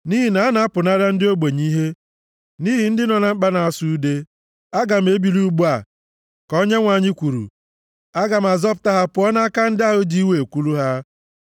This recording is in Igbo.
“Nʼihi na a na-apụnara ndị ogbenye ihe nʼihi ndị nọ na mkpa na-asụ ude, aga m ebili ugbu a, ka Onyenwe anyị kwuru. Aga m zọpụta ha pụọ nʼaka ndị ahụ ji iwe ekwulu ha.”